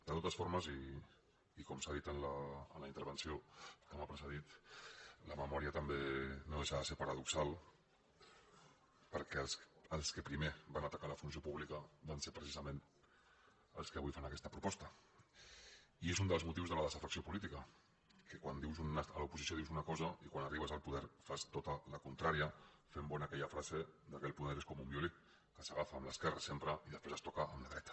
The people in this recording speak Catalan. de totes formes i com s’ha dit en la intervenció que m’ha precedit la memòria no deixa de ser paradoxal perquè els que primer van atacar la funció pública van ser precisament els que avui fan aquesta proposta i és un dels motius de la desafecció política que quan ets a l’oposició dius una cosa i quan arribes al poder fas tota la contrària fent bona aquella frase que el poder és com un violí que s’agafa amb l’esquerra sempre i després es toca amb la dreta